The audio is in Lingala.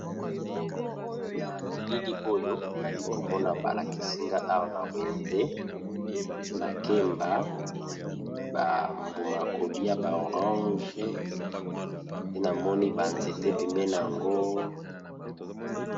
Na bilili oyo nali komona balakisinga awa na wenze, makemba bambuma kolia ba orange te namoni banzete pembena yango.